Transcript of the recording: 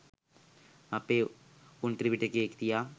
අපේ උන් ත්‍රිපිටකය තියා